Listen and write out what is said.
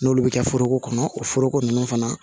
N'olu bɛ kɛ foroko kɔnɔ o foroko ninnu fana